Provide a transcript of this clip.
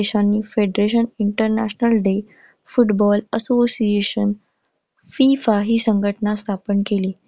या देशांनी federation international day football associationFIFA ही संघटना स्थापन केली.